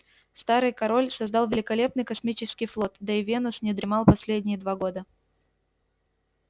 старый король создал великолепный космический флот да и венус не дремал последние два года